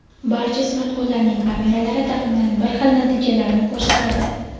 barcha smartfonlarning kameralari taxminan bir xil natijalarni ko‘rsatadi.